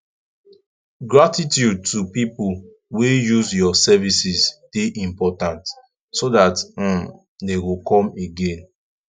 gratitude to pipo wey use your services de important so that um dem go come again